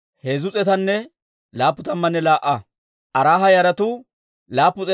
Iyyaasunne Yoo'aaba naanaa gidiyaa Paahati-Moo'aaba yaratuu 2,812.